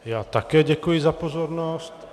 Já také děkuji za pozornost.